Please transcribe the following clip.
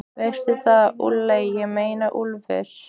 Veistu það, Úlli, ég meina Úlfur.